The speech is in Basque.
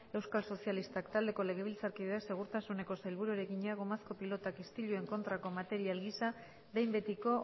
euskal sozialistak taldeko legebiltzarkideak segurtasuneko sailburuari egina gomazko pilotak istiluen kontrako material gisa behin betiko